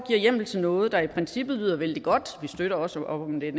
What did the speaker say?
hjemmel til noget der i princippet lyder vældig godt vi støtter også op om det